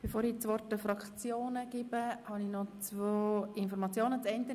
Bevor ich das Wort den Fraktionen erteile, habe ich noch zwei Mitteilungen zu machen.